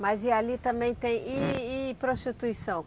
Mas e ali também tem, e, e prostituição?